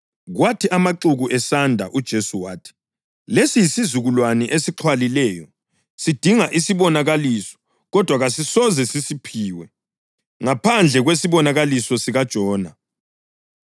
Kwathi amaxuku esanda uJesu wathi, “Lesi yisizukulwane esixhwalileyo. Sidinga isibonakaliso kodwa kasisoze sisiphiwe ngaphandle kwesibonakaliso sikaJona.